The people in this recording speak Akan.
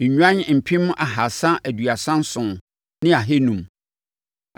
nnwan mpem ahasa aduasa nson ne ahanum (337,500),